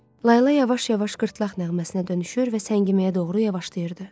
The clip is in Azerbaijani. Layla yavaş-yavaş qırtlaq nəğməsinə dönüşür və səngiməyə doğru yavaşlayırdı.